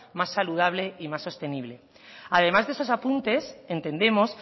más saludable y más sostenible además de esos apuntes entendemos